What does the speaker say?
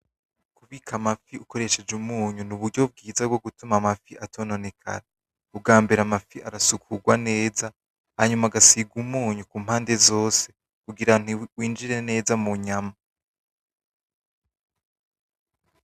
Kubika amafi ukoresheje umunyu ni uburyo bwiza butuma amafi atononekara ubwa mbere amafi arasukugwa neza hanyuma agasigwa umunyu kumpande zose kugira winjire neza munyama .